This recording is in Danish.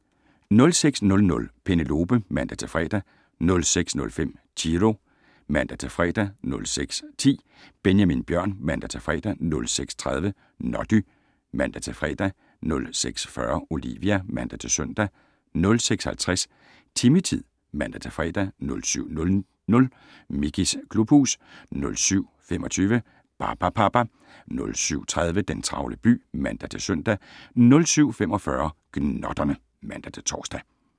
06:00: Penelope (man-fre) 06:05: Chiro (man-fre) 06:10: Benjamin Bjørn (man-fre) 06:30: Noddy (man-fre) 06:40: Olivia (man-søn) 06:50: Timmy-tid (man-fre) 07:00: Mickeys klubhus 07:25: Barbapapa 07:30: Den travle by (man-søn) 07:45: Gnotterne (man-tor)